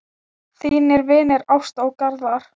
Þínir vinir Ásta og Garðar.